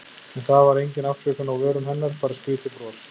En það var engin afsökun á vörum hennar, bara skrýtið bros.